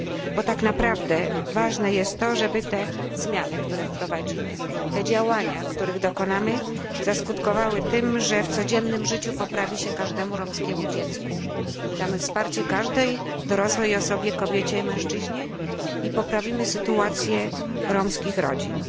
Bo tak naprawdę ważne jest to, żeby te zmiany, które wprowadzimy, te działania, których dokonamy, zaskutkowały tym, że w codziennym życiu poprawi się każdemu romskiemu dziecku, damy wsparcie każdej dorosłej osobie kobiecie i mężczyźnie poprawimy sytuację romskich rodzin.